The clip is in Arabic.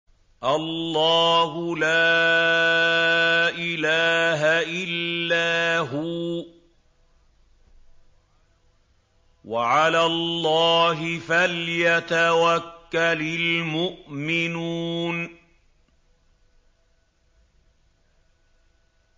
اللَّهُ لَا إِلَٰهَ إِلَّا هُوَ ۚ وَعَلَى اللَّهِ فَلْيَتَوَكَّلِ الْمُؤْمِنُونَ